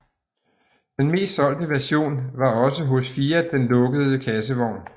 Den mest solgte version var også hos Fiat den lukkede kassevogn